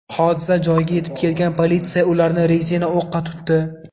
Hodisa joyiga yetib kelgan politsiya ularni rezina o‘qqa tutdi.